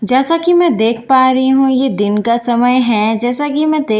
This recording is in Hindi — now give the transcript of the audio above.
जैसा कि मैं देख पा रही हूं यह दिन का समय है जैसा कि मैं दे--